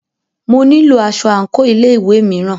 Mo nílo aṣọ àńkò ilé ìwé mìíràn.